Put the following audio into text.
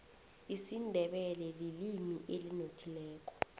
isindebele lilimi elinothileko